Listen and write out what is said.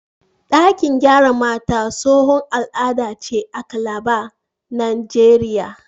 Ɗakin gyara mata tsohon al'ada ce a Calabar, Najeriya.